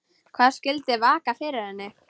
Hvað skyldi vaka fyrir henni?